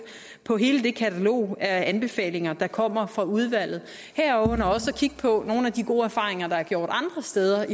på hele det katalog af anbefalinger der kommer fra udvalget herunder også kigge på nogle af de gode erfaringer der er gjort andre steder